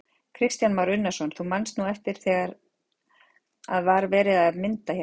Kristján Már Unnarsson: Þú manst nú eftir því þegar að var verið að mynda hérna?